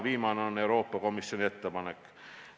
Viimane on Euroopa Komisjoni ettepanek.